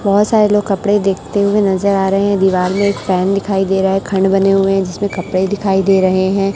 बहुत सारे लोग कपड़े देखते हुए नजर आ रहे हैं दीवाल में एक फैन दिखाई दे रहा है खंड बने हुए हैं जिसमें कपड़े दिखाई दे रहे हैं।